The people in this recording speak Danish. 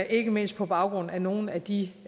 ikke mindst på baggrund af nogle af de